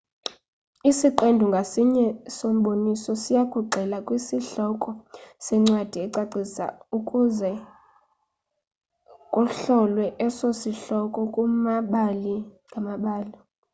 isiqendu ngasinye somboniso siyakugxila kwisihloko sencwadi ecacisiweyo ukuze kuhlolwe eso sihloko kumabali ngamabali